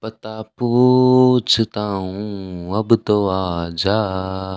पता पूंछता हूं अब तो आजा।